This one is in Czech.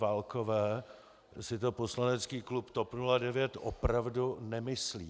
Válkové si to poslanecký klub TOP 09 opravdu nemyslí.